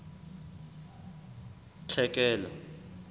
tlhekelo